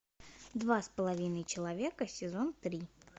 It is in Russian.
два с половиной человека сезон три